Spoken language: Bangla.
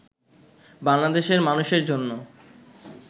বাংলাদেশের মানুষের জন্য